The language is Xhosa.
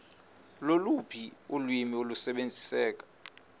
loluphi ulwimi olusebenziseka